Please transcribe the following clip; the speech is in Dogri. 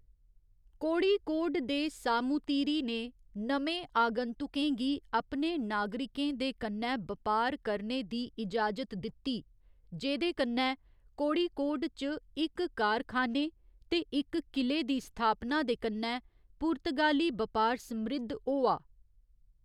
कोड़िकोड दे सामूतिरि ने नमें आगंतुकें गी अपने नागरिकें दे कन्नै बपार करने दी इजाजत दित्ती, जेह्‌‌‌दे कन्नै कोड़िकोड च इक कारखाने ते इक किले दी स्थापना दे कन्नै पुर्तगाली बपार समृद्ध होआ।